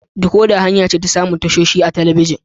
Dekoda hanya ce ta samun tashoshi a talabijin.